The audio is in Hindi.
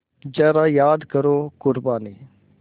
ज़रा याद करो क़ुरबानी